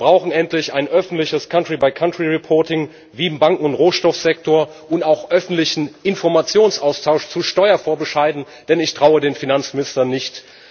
Wir brauchen endlich ein öffentliches country by country reporting wie im Banken und Rohstoffsektor und auch öffentlichen Informationsaustausch zu Steuervorbescheiden, denn ich traue den Finanzministern nicht.